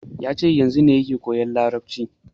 Yace yanzu ne yake koyan yarabanci